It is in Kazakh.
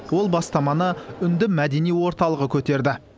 ол бастаманы үнді мәдени орталығы көтерді